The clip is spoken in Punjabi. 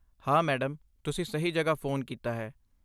ਹਾਂ, ਮੈਡਮ! ਤੁਸੀਂ ਸਹੀ ਜਗ੍ਹਾ ਫ਼ੋਨ ਕੀਤਾ ਹੈ।